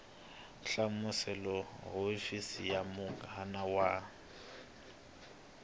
hlamusela hofisi ya muganga wa